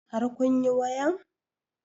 Har kun yi wayan?